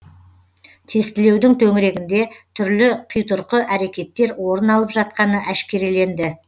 тестілеудің төңірегінде түрлі қитұрқы әрекеттер орын алып жатқаны әшкереленді